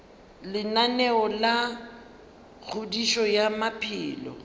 lenaneo la kgodišo ya maphelo